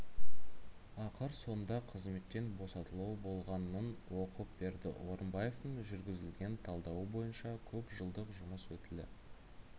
ақыр соңында қызметтен босатылуы болғанын оқып берді орынбаевтың жүргізілген талдауы бойынша көп жылдық жұмыс өтілі